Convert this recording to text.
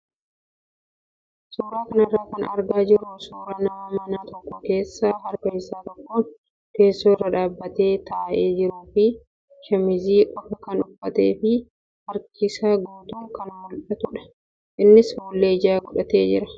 Suuraa kanarraa kan argaa jirru suuraa nama mana tokko keessa harka isaa tokkoon teessoo irra dhaabbatee taa'ee jiruu fi shaamizii qofaa kan uffatee fi harki isaa guutuun kan mul'atudha. Innis fuullee ijaa godhatee jira.